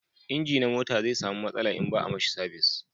inji na mota zai samu matsala in ba a mishi sabis